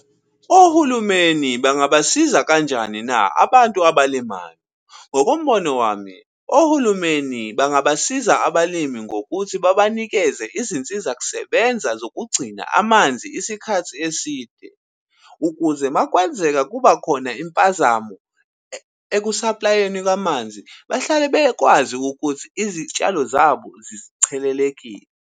Ohulumeni bangabasiza kanjani na abantu abalimayo? Ngokombono wami, ohulumeni bangabasiza abalimi ngokuthi babanikeze izinsizakusebenza zokugcina amanzi isikhathi eside. Ukuze makwenzeka kuba khona impazamo eku-supply-eni kamanzi, bahlale bekwazi ukuthi izitshalo zabo zichelelekile.